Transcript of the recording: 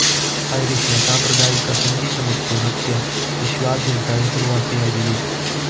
Irish ನ ಸಾಂಪ್ರದಾಯಿಕ ಸಂಗೀತ ಮತ್ತು ನೃತ್ಯ ವಿಶ್ವಾದ್ಯಂತ ಹೆಸರುವಾಸಿಯಾಗಿವೆ